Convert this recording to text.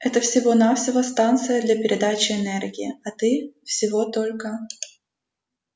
это всего-навсего станция для передачи энергии а ты всего только